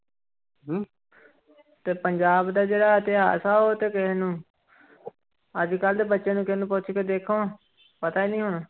ਤੇ ਪੰਜਾਬ ਦਾ ਜਿਹੜਾ ਇਤਿਹਾਸ ਆ ਉਹ ਤੇ ਕਿਸੇ ਨੂੰ ਅੱਜ ਕੱਲ੍ਹ ਦੇ ਬੱਚੇ ਨੂੰ ਕਿਸੇ ਨੂੰ ਪੁੱਛ ਕੇ ਦੇਖੋ ਪਤਾ ਹੀ ਨੀ ਹੋਣਾ।